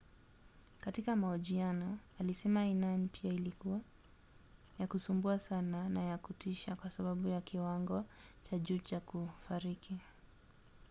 katika mahojiano alisema aina mpya ilikuwa ya kusumbua sana na ya kutisha kwa sababu ya kiwango cha juu cha kufariki.